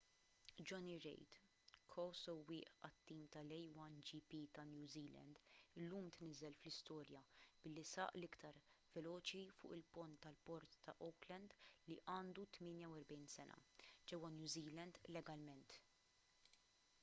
jonny reid ko-sewwieq għat-tim tal-a1gp ta’ new zealand illum tniżżel fl-istorja billi saq l-iktar veloċi fuq il-pont tal-port ta’ auckland li għandu 48 sena ġewwa new zealand legalment